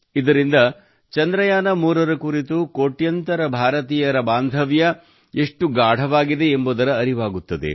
ಇದರಿಂದ ಚಂದ್ರಯಾನ3 ರ ಕುರಿತು ಕೋಟ್ಯಾಂತರ ಭಾರತೀಯರ ಬಾಂಧವ್ಯ ಎಷ್ಟು ಗಾಢವಾಗಿದೆ ಎಂಬುದರ ಅರಿವಾಗುತ್ತದೆ